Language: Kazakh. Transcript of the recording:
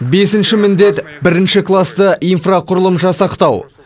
бесінші міндет бірінші класты инфрақұрылым жасақтау